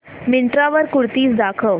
मिंत्रा वर कुर्तीझ दाखव